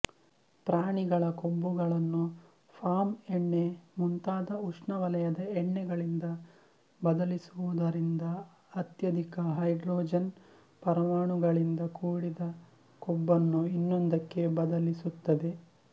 ಪ್ರಾಣಿಗಳ ಕೊಬ್ಬುಗಳನ್ನು ಪಾಮ್ ಎಣ್ಣೆ ಮುಂತಾದ ಉಷ್ಣವಲಯದ ಎಣ್ಣೆಗಳಿಂದ ಬದಲಿಸುವುದರಿಂದ ಅತ್ಯಧಿಕ ಹೈಡ್ರೋಜನ್ ಪರಮಾಣುಗಳಿಂದ ಕೂಡಿದ ಕೊಬ್ಬನ್ನು ಇನ್ನೊಂದಕ್ಕೆ ಬದಲಿಸುತ್ತದೆ